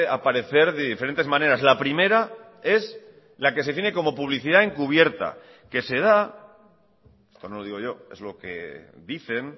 aparecer de diferentes maneras la primera es la que se tiene como publicidad encubierta que se da esto no lo digo yo es lo que dicen